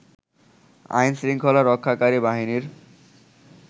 আইনশৃংখলা রক্ষাকারী বাহিনীর